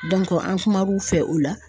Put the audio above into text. an kumar'u fɛ o la.